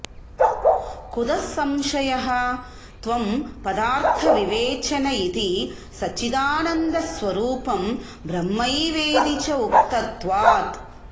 कुतः संशयः त्वंपदार्थविवेचन इति सच्चिदानन्दस्वरूपं ब्रह्मैवेति च उक्तत्वात्